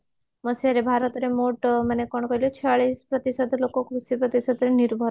ମସିହାରେ ଭାରତରେ ମୋଟ ମାନେ କଣ କହିଲ ଛୟାଳିଶ ପ୍ରତିଶତ ଲୋକ କୃଷି ଉପରେ ସେତେ ନିର୍ଭର ଅଛନ୍ତି